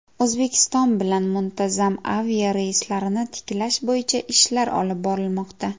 O‘zbekiston bilan muntazam aviareyslarni tiklash bo‘yicha ishlar olib borilmoqda.